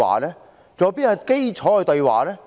還有甚麼基礎對話？